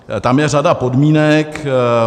Tam je řada podmínek.